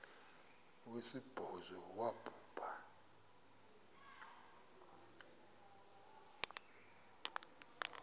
wesibhozo wabhu bha